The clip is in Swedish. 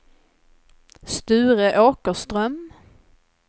Sture Åkerström